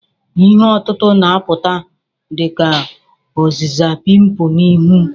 Ihe otutu na-apụta dị ka ọzịza pimpu na ihu.